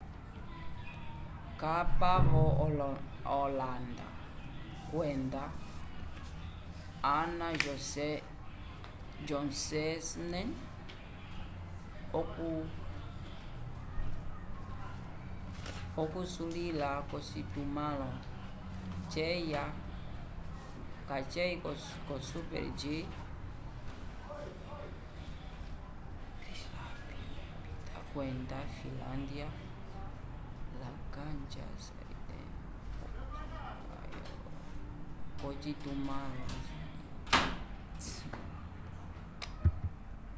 kapa vo holanda kwenda anna jochemsen okusulila ko citumalo ceia ka kayi ko super-g hela lya pita kwenda filandia la katja saarinen okusulila kocitumãlo cekwi kupange umosi